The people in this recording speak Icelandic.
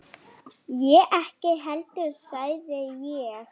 Ég ekki heldur sagði ég.